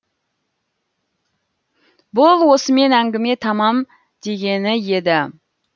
бұл осымен әңгіме тамам дегені еді